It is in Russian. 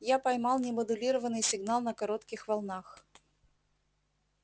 я поймал немодулированный сигнал на коротких волнах